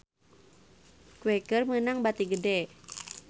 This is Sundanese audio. Quaker meunang bati gede